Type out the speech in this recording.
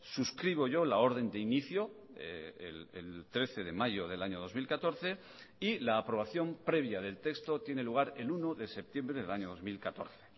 suscribo yo la orden de inicio el trece de mayo del año dos mil catorce y la aprobación previa del texto tiene lugar el uno de septiembre del año dos mil catorce